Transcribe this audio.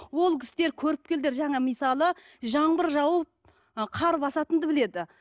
ол кісілер көріпкелдер жаңа мысалы жаңбыр жауып ы қар басатынды біледі